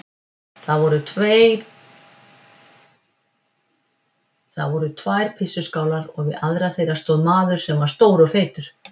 Það voru tvær pissuskálar og við aðra þeirra stóð maður sem var stór og feitur.